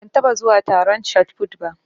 Ban taɓa zuwa taron shotput ba.